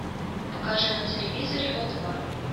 покажи на телевизоре о два